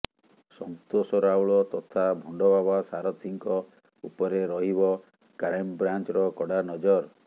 ସନ୍ତୋଷ ରାଉଳ ତଥା ଭଣ୍ଡବାବା ସାରଥୀଙ୍କ ଉପରେ ରହିବ କ୍ରାଇମବ୍ରାଞ୍ଚର କଡ଼ା ନଜର